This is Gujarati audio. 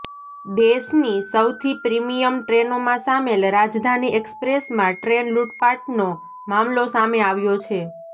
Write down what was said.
દેશની સૌથી પ્રિમિયમ ટ્રેનોમાં સામેલ રાજધાની એક્સપ્રેસમાં ટ્રેન લૂટપાટનો મામલો સામે આવ્યો છે